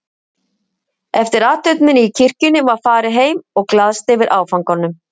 Eftir athöfnina í kirkjunni var farið heim og glaðst yfir áfanganum.